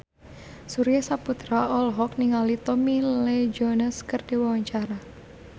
Surya Saputra olohok ningali Tommy Lee Jones keur diwawancara